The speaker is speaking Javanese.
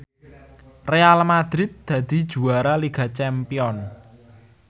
Real madrid dadi juara liga champion